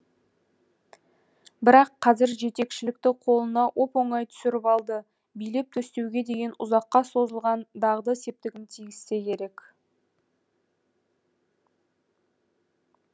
бірақ қазір жетекшілікті қолына оп оңай түсіріп алды билеп төстеуге деген ұзаққа созылған дағды септігін тигізсе керек